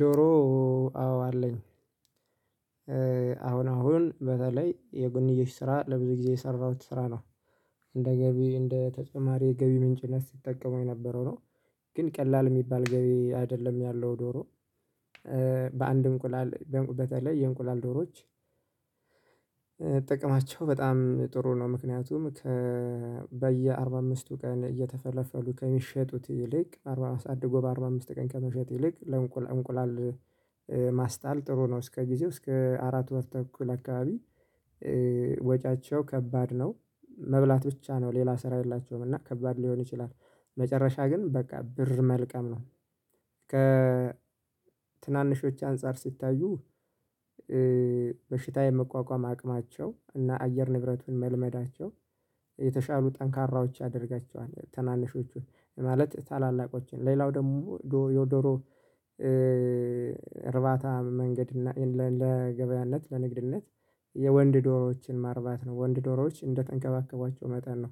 ዶሮ አዎ አለኝ። አሁን አሁን በተለይ የጎንዮሽ ስራ ለብዙ ጊዜ የሰራሁት ስራ ነው። እንደ ገቢ እንደ ተጨማሪ የገቢ ምንጭነት ስጠቀሙመው የነበረው ነው። ግን ቀላል የሚባል ገቢ አይደለም ያለው ዶሮ። በአንድ እንቁላል በተለይ የእንቁላል ዶሮዎች ጥቀማቸው በጣም ጥሩ ነው። ምክንያቱም ከ በየአርባ አምስቱ ቀን እየተፈለፈሉ ከሚሸጡት ይልቅ አድጎ በአርባ አምስት ቀን ከመሸጥ ይልቅ ለእንቁላል እንቁላል ማስጣል ጥሩ ነው እስከ ጊዜው እስከ አራት ወር ተኩል አካባቢ። ወጪያቸው ከባድ ነው። መብላት ብቻ ነው ሌላ ስራ የላቸውም እና ከባድ ሊሆን ይችላል። መጨረሻ ግን በቃ ብር መልቀም ነው። ከትናንሾች አንፃር ሲታዩ በሽታ የመቋቋም አቅማቸው እና አየር ንብረቱን መልመዳቸው የተሻሉ ጠንካራዎች ያደርጋቸዋል ታናናሾቹን ማለት ታላላቆችን ሌላው ደግሞ ዶዶሮ። እርባታ መንገድ ለገበያነት ለንግድነት የወንድ ዶሮዎችን ማርባት ነው ወንድ ዶሮዎች እንደተንከባከቧቸው መጠን ነው።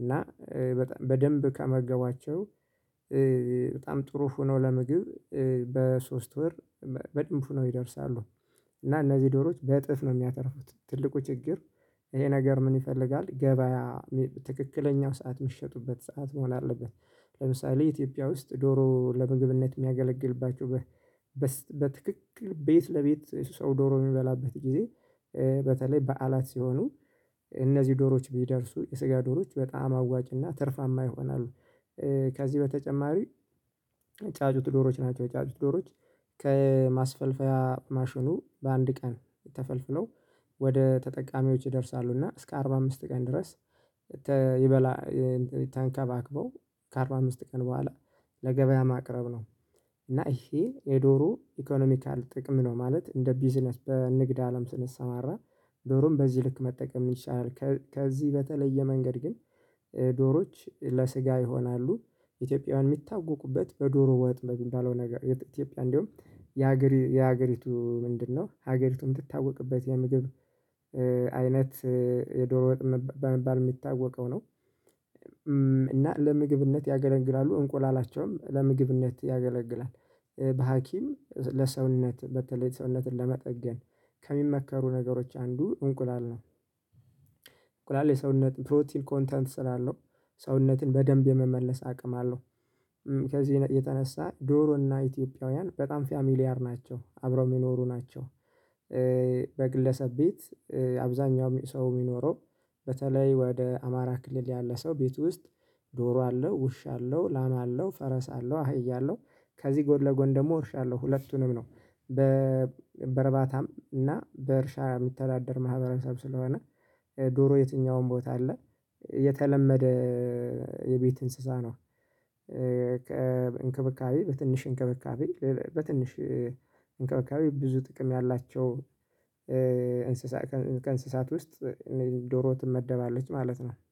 እና በደንብ ከመገቧቸው በጣም ጥሩ ሆኖ ለምግብ በሶስት ወር በደንብ ሆነው ይደርሳሉ። እና እነዚህ ዶሮዎች በእጥፍ ነው የሚያተርፉት ትልቁ ችግር ይሄ ነገር ምን ይፈልጋል ገበያ ትክክለኛው ሰዓት የሚሸጡበት ሰዓት መሆን አለበት። ለምሳሌ ኢትዮጵያ ውስጥ ዶሮ ለምግብነት የሚያገለግልባችሁ በትክክል ቤት ለቤት ሰው ዶሮ የሚበላበት ጊዜ በተለይ በዓላት ሲሆኑ እነዚህ ዶሮዎች ቢደርሱ የስጋ ዶሮዎች በጣም አዋጭና ትርፋማ ይሆናሉ። ከዚህ በተጨማሪ ጫጩት ዶሮዎች ናቸው። ጫጩት ዶሮዎች ከማስፈልፈያ ማሽኑ በአንድ ቀን የተፈለፈው ወደ ተጠቃሚዎች ይደርሳሉ እና እስከ አርባ አምስት ቀን ድረስ ይበላ ተንባክበው ከአርባ አምስት ቀን በኋላ ለገበያ ማቅረብ ነው። እና ይሄ የዶሮ ኢኮኖሚካል ጥቅም ነው ማለት እንደ ቢዝነስ በንግድ አለም ስንሰማራ ዶሮም በዚህ ልክ መጠቀም ይቻላል። ከዚህ በተለየ መንገድ ግን ዶሮዎች ለስጋ ይሆናሉ። ኢትዮጵያውያን የሚታወቁበት በዶሮ ወጥ በሚባለው ነገር ኢትዮጵያ እንደውም የሀገሪቱ ምንድነው ሀገሪቱን የምትታወቅበት የምግብ አይነት የዶሮ ወጥ በመባል የሚታወቀው ነው። እና ለምግብነት ያገለግላሉ እንቁላላቸውም ለምግብነት ያገለግላል በሀኪም ለሰውነት በተለይ ሰውነትን ለመጠገን ከሚመከሩ ነገሮች አንዱ እንቁላል ነው። እንቁላል የሰውነት ፕሮቲን ኮንተንት ስላለው ሰውነትን በደንብ የመመለስ አቅም አለው። ከዚህ የተነሳ ዶሮና ኢትዮጵያውያን በጣም ፋሚሊያር ናቸው አብረው የሚኖሩ ናቸው። በግለሰብ ቤት አብዛኛው ሰው የሚኖረው በተለይ ወደ አማራ ክልል ያለ ሰው ቤት ውስጥ ዶሮ አለው ውሻ አለው ላም አለው ፈረስ አለው አህያ አለው ከዚህ ጎድ ለጎን ደግሞ እርሻ አለው ሁለቱንም ነው። በርባታም እና በእርሻ የሚተዳደር ማህበረሰብ ስለሆነ ዶሮ የትኛውም ቦታ አለ። የተለመደ የቤት እንስሳ ነው። እንክብካቤ በትንሽ እንክብካቤ በትንሽ እንክብካቤ ብዙ ጥቅም ያላቸው እንስሳ ከእንስሳት ውስጥ ዶሮ ትመደባለች ማለት ነው